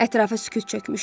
Ətrafa sükut çökmüşdü.